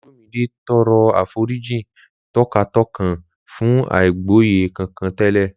Olumide tọrọ àforíjì tọkàntọkàn fún àìgbọ́yé kankan tẹ́lẹ̀